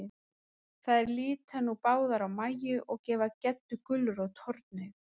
Þær líta nú báðar á Mæju, og gefa Geddu gulrót hornauga.